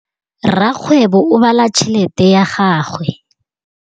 Rakgwêbô o bala tšheletê ya gagwe.